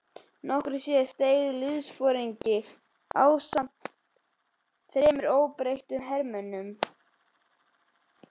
Nokkru síðar steig liðsforingi á land ásamt þremur óbreyttum hermönnum.